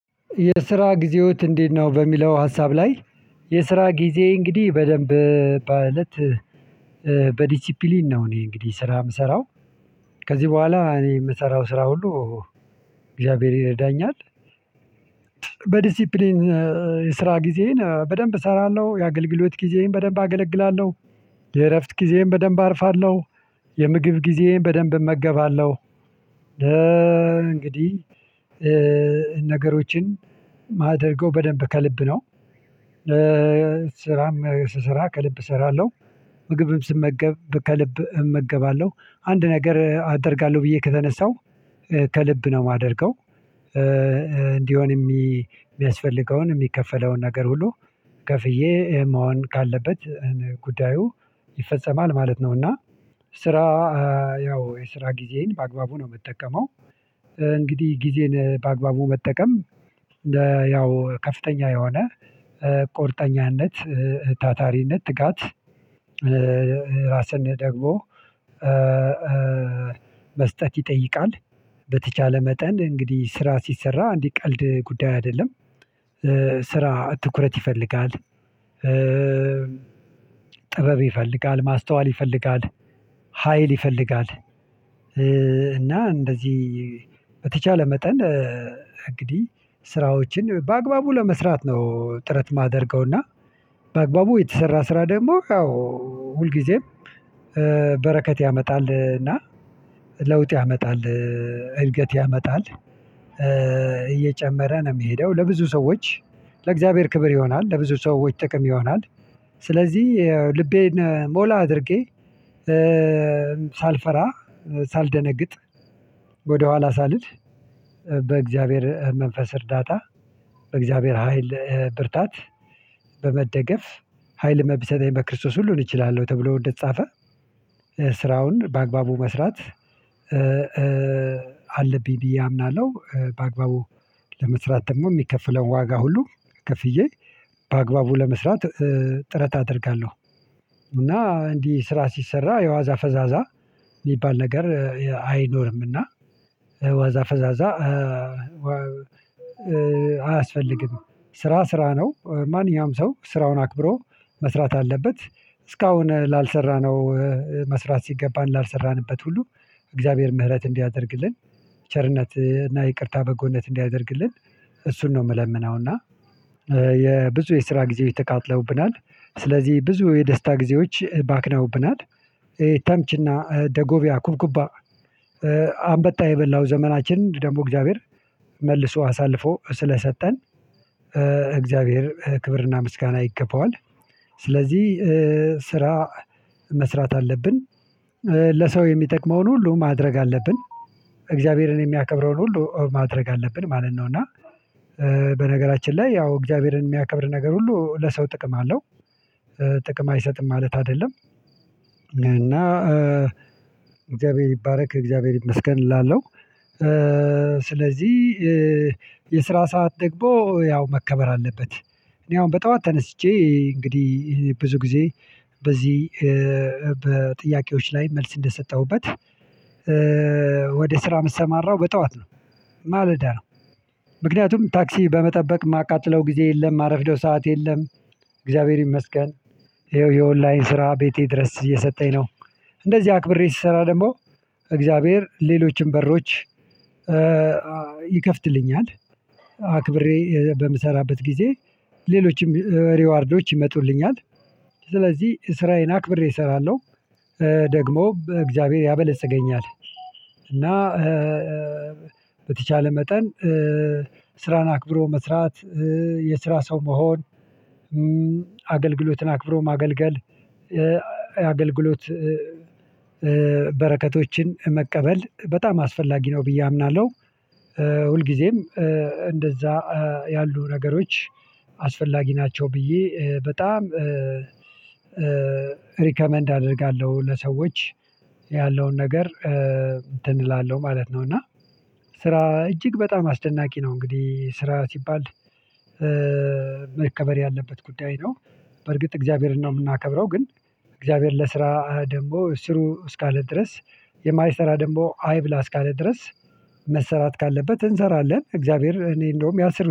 የስራ ጊዜዎት እንዴት ነው? በሚለው ሀሳብ ላይ የስራ ጊዜየ እንግዲህ በደንብ በእለት በዲሲፕሊን ነው እኔ እንግዲህ ስራ የምሰራው። ከዚህ በኋላ እኔ የምሰራው ስራ ሁሉ እግዚአብሔር ይረዳኛል። በዲሲፕሊን የስራ ጊዜን በደንብ እሰራለሁ የአገልግሎት ጊዜዬን በደንብ አገለግላለሁ። የእረፍት ጊዜዬን በደንብ አርፋለሁ። የምግብ ጊዜዬን በደንብ እመገባለሁ። እንግዲህ ነገሮችን የማደርገው በደንብ ከልብ ነው። ስራም ስራ ከልብ እሰራለሁ ምግብም ስመገብ ከልብ እመገባለሁ አንድ ነገር አደርጋለሁ ብዬ ከተነሳው ከልብ ነው የማደርገው። እንዲሆን የሚያስፈልገውን የሚከፈለውን ነገር ሁሉ ከፍዬ መሆን ካለበት ጉዳዩ ይፈጸማል ማለት ነው። እና ስራ ያው የስራ ጊዜን በአግባቡ ነው የምጠቀመው እንግዲህ ጊዜን በአግባቡ መጠቀም። ያው ከፍተኛ የሆነ ቁርጠኛነት ታታሪነት ትጋት ራስን ደግሞ መስጠት ይጠይቃል። በተቻለ መጠን እንግዲህ ስራ ሲሰራ እንዲህ ቀልድ ጉዳይ አይደለም። ስራ ትኩረት ይፈልጋል። ጥበብ ይፈልጋል ማስተዋል ይፈልጋል ሀይል ይፈልጋል። እና እንደዚህ በተቻለ መጠን እንግዲህ ስራዎችን በአግባቡ ለመስራት ነው ጥረት የማደርገውና። በአግባቡ የተሰራ ስራ ደግሞ ያው ሁልጊዜም በረከት ያመጣል እና ለውጥ ያመጣል። እድገት ያመጣል እየጨመረ ነው የሚሄደው ለብዙ ሰዎች ለእግዚአብሔር ክብር ይሆናል ለብዙ ሰዎች ጥቅም ይሆናል። ስለዚህ ልቤን ሞላ አድርጌ ሳልፈራ ሳልደነግጥ ወደኋላ ሳልል በእግዚአብሔር መንፈስ እርዳታ በእግዚአብሔር ሀይል ብርታት በመደገፍ ሀይል በሚሰጠኝ በክርስቶስ ሁሉን እችላለሁ ተብሎ እንደተጻፈ ስራውን በአግባቡ መስራት አለብኝ ብዬ አምናለሁ። በአግባቡ ለመስራት ደግሞ የሚከፍለው ዋጋ ሁሉ ክፍዬ በአግባቡ ለመስራት ጥረት አደርጋለሁ። እና እንዲህ ስራ ሲሰራ የዋዛ ፈዛዛ የሚባል ነገር አይኖርምና ዋዛ ፈዛዛ አያስፈልግም። ስራ ስራ ነው ማንኛውም ሰው ስራውን አክብሮ መስራት አለበት። እስካሁን ላልሰራነው መስራት ሲገባን ላልሰራንበት ሁሉ እግዚአብሔር ምህረት እንዲያደርግልን ቸርነት እና ይቅርታ በጎነት እንዲያደርግልን እሱን ነው የምለምነው እና። የብዙ የስራ ጊዜው የተቃጥለውብናል ስለዚህ ብዙ የደስታ ጊዜዎች ባክናውብናል ተምችና ደጎቢያ ኩብኩባ አንበጣ የበላው ዘመናችን ደግሞ እግዚአብሔር መልሶ አሳልፎ ስለሰጠን እግዚአብሔር ክብርና ምስጋና ይገባዋል። ስለዚህ ስራ መስራት አለብን ለሰው የሚጠቅመውን ሁሉ ማድረግ አለብን እግዚአብሔርን የሚያከብረውን ሁሉ ማድረግ አለብን ማለት ነው። እና በነገራችን ላይ ያው እግዚአብሔርን የሚያከብር ነገር ሁሉ ለሰው ጥቅም አለው ጥቅም አይሰጥም ማለት አይደለም። እና እግዚአብሔር ይባረክ እግዚአብሔር ይመስገን እላለሁ። ስለዚህ የስራ ሰዓት ደግሞ ያው መከበር አለበት። እኔ አሁን በጠዋት ተነስቼ እንግዲህ ብዙ ጊዜ በዚህ በጥያቄዎች ላይ መልስ እንደሰጠሁበት ወደ ስራ የምትሰማራው በጠዋት ነው። ማለዳ ነው ምክንያቱም ታክሲ በመጠበቅ የማቃጥለው ጊዜ የለም የማረፍደው ሰዓት የለም። እግዚአብሔር ይመስገን ይኸው የኦንላይን ስራ ቤቴ ድረስ እየሰጠኝ ነው። እንደዚህ አክብሬ ስሰራ ደግሞ እግዚአብሔር ሌሎችም በሮች ይከፍትልኛል። አክብሬ በምሰራበት ጊዜ ሌሎችም ሪዋርዶች ይመጡልኛል። ስለዚህ ስራዬን አክብሬ እሰራለሁ ደግሞ በእግዚአብሔር ያበለፅገኛል። እና በተቻለ መጠን ስራን አክብሮ መስራት የስራ ሰው መሆን አገልግሎትን አክብሮ ማገልገል አገልግሎት በረከቶችን መቀበል በጣም አስፈላጊ ነው ብዬ አምናለሁ። ሁልጊዜም እንደዛ ያሉ ነገሮች አስፈላጊ ናቸው ብዬ በጣም ሪከመንድ አደርጋለሁ ለሰዎች ያለውን ነገር እንትን እላለሁ ማለት ነው። እና ስራ እጅግ በጣም አስደናቂ ነው። እንግዲህ ስራ ሲባል መከበር ያለበት ጉዳይ ነው። በርግጥ እግዚአብሔርን ነው የምናከብረው ግን እግዚአብሔር ለስራ ደግሞ ስሩ እስካለ ድረስ የማይሰራ ደንቦ አይብላ እስካለ ድረስ መሰራት ካለበት እንሰራለን። እግዚአብሔር እኔ እንደውም ያስር